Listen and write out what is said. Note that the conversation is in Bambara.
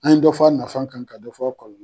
An ye dɔ fɔ a nafa kan ka fɔ aw